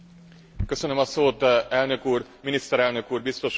Elnök Úr, Miniszterelnök Úr, Biztos Úr, Képviselőtársaim!